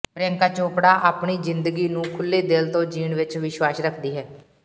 ਪ੍ਰਿਯੰਕਾ ਚੋਪੜਾ ਆਪਣੀ ਜਿੰਦਗੀ ਨੂੰ ਖੁੱਲ੍ਹੇ ਦਿਲ ਤੋਂ ਜੀਣ ਵਿੱਚ ਵਿਸ਼ਵਾਸ ਰੱਖਦੀ ਹੈ